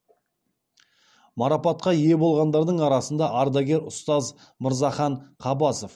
марапатқа ие болғандардың арасында ардагер ұстаз мырзахан қабасов